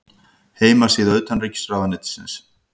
Heimasíða utanríkisráðuneytisins.